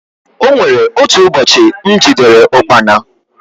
O nwere otu ụbọchị m jidere ụkpana.